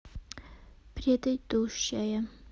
предыдущая